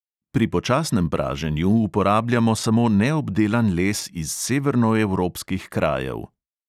Pri počasnem praženju uporabljamo samo neobdelan les iz severnoevropskih krajev.